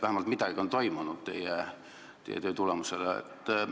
Vähemalt midagi on teie töö tulemusel toimunud.